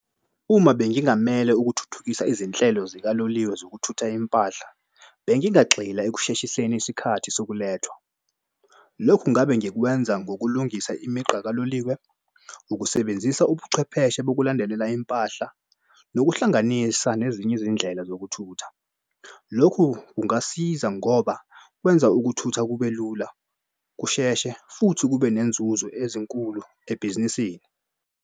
Uma bengingamele ukuthuthukisa izinhlelo zikaloliwe zokuthutha impahla bengingagxila ekusheshiseni isikhathi sokulethwa. Lokhu ngabe ngikwenza ngokulungisa imigqa kaloliwe. Ukusebenzisa ubuchwepheshe bokulandelela impahla nokuhlanganisa nezinye izindlela zokuthutha. Lokhu kungasiza ngoba kwenza ukuthutha kube lula kusheshe futhi kube nenzuzo ezinkulu ebhizinisini.